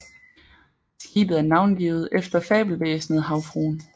Skibet er navngivet efter fabelvæsenet Havfruen